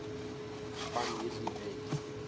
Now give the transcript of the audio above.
van hierdie wet